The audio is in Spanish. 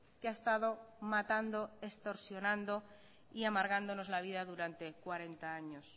que ha estado matando extorsionando y amargándonos la vida durante cuarenta años